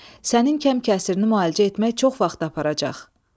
Sənin kəm-kəsirini müalicə etmək çox vaxt aparacaq.